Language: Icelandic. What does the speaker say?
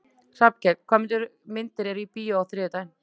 Hallkell, hvaða myndir eru í bíó á þriðjudaginn?